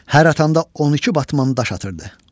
Hər atanda 12 batman daş atırdı.